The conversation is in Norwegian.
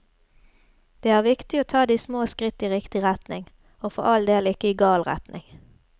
Det er viktig å ta de små skritt i riktig retning, og for all del ikke i gal retning.